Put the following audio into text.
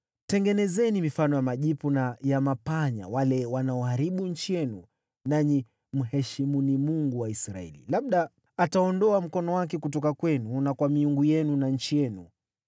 Tengenezeni mifano ya majipu na ya panya wale wanaoharibu nchi yenu, nanyi mheshimuni Mungu wa Israeli. Labda ataondoa mkono wake kutoka kwenu na kwa miungu yenu na nchi yenu.